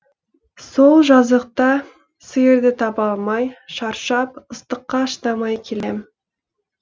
сол жазықта сиырды таба алмай шаршап ыстыққа шыдамай келем